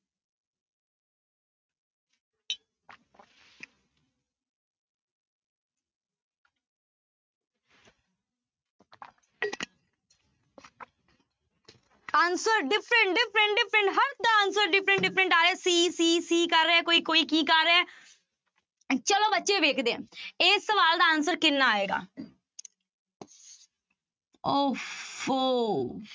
Answer different, different, different ਹਰ ਦਾ answer different, different ਆ ਰਿਹਾ c, c, c ਕਰ ਰਿਹਾ ਹੈ ਕੋਈ ਕੋਈ ਕੀ ਕਰ ਰਿਹਾ ਹੈ ਚਲੋ ਬੱਚੇ ਵੇਖਦੇ ਹਾਂ ਇਹ ਸਵਾਲ ਦਾ answer ਕਿੰਨਾ ਆਏਗਾ ਓਫ਼ੋ